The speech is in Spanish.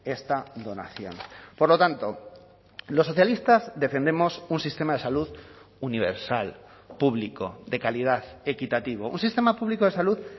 esta donación por lo tanto los socialistas defendemos un sistema de salud universal público de calidad equitativo un sistema público de salud